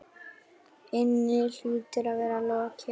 inni hlýtur að vera lokið.